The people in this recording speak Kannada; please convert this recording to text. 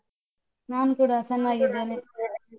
ನಾನು ಕೂಡ ಚೆನ್ನಾಗಿದ್ದೇನೆ.